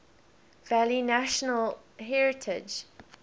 valley national heritage